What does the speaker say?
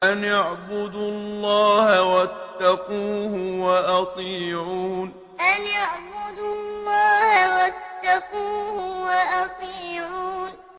أَنِ اعْبُدُوا اللَّهَ وَاتَّقُوهُ وَأَطِيعُونِ أَنِ اعْبُدُوا اللَّهَ وَاتَّقُوهُ وَأَطِيعُونِ